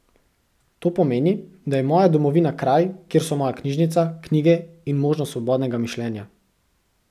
To pomeni, da je moja domovina kraj, kjer so moja knjižnica, knjige in možnost svobodnega mišljenja.